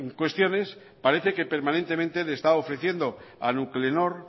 cuestiones parece que permanentemente le está ofreciendo a nuclenor